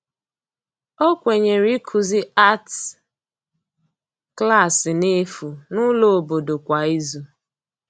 ọ Kwenyere ikuzi arti Klassi n'efu n'ulo obodo kwa ịzụ